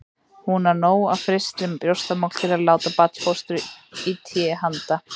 Hún á nóg af frystri brjóstamjólk til að láta barnfóstru í té handa